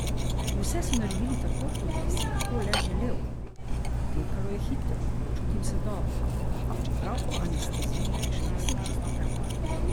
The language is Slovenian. Vse so naredili tako kot bi si lahko le želel, potekalo je hitro, počutim se dobro, čeprav po anesteziji še nisem čisto pravi.